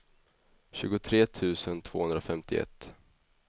tjugotre tusen tvåhundrafemtioett